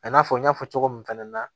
I n'a fɔ n y'a fɔ cogo min fɛnɛ na